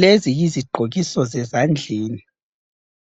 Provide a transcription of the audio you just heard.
Lezi yizigqokiso zezandleni,